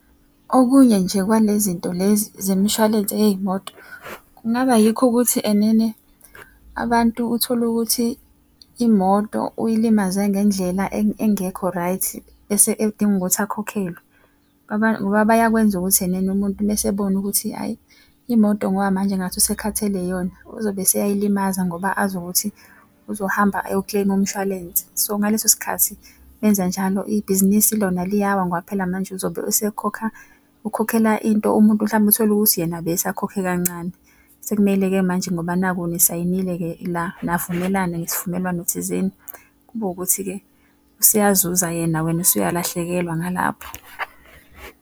Okunye nje kwalezinto lezi zemshwalense yey'moto kungaba yikho ukuthi enene abantu utholukuthi imoto uy'limaze ngendlela engekho right, bese edinga ukuthi akhokhelwe. Ngoba bayakwenza ukuthi enene umuntu mese abone ukuthi hhayi imoto ngoba manje ngathi usekhathele iyona, uzobe eseyayilimaza ngoba azi ukuthi uzohamba ayo-claim umshwalense. So ngaleso sikhathi benza njalo ibhizinisi lona liyawa ngoba phela manje uzobe esekhokha, ukhokhela into umuntu mhlampe utholukuthi yena besakhokhe kancane. Sekumele-ke manje ngoba naku nisayinile-ke la, navumelana ngesivumelwano thizeni, kube ukuthi-ke useyazuza yena wena usuyalahlekelwa ngalapho.